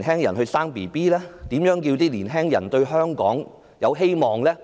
如何讓他們對香港抱有希望呢？